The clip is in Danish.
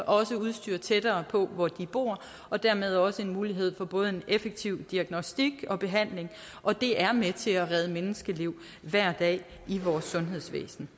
også udstyr tættere på hvor de bor og dermed også en mulighed for både en effektiv diagnostik og behandling og det er med til at redde menneskeliv hver dag i vores sundhedsvæsen